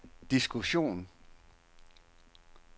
diskussion